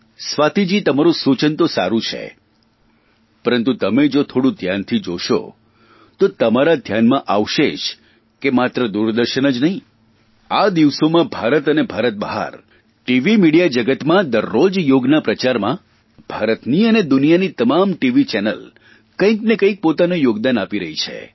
સ્વાતિજી તમારૂં સૂચન તો સારૂં છે પરંતુ તમે જો થોડું ધ્યાનથી જોશો તે તમારા ધ્યાનમાં આવશે જ કે માત્ર દૂરદર્શન જ નહીં આ દિવસોમાં ભારત અને ભારત બહાર ટીવી મિડીયા જગતમાં દરરોજ યોગના પ્રચારમાં ભારતની અને દુનિયાની તમામ ટીવી ચેનલ કંઇને કંઇક પોતાનું યોગદાન આપી રહી છે